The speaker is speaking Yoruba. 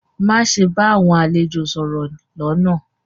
Maṣe bá awọn àlẹ̀jọ̀ sọ̀rọ̀ ni lónà!